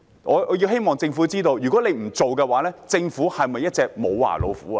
我希望政府知道，若不作此舉，政府是否一隻"無牙老虎"呢？